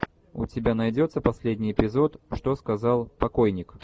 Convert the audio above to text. у тебя найдется последний эпизод что сказал покойник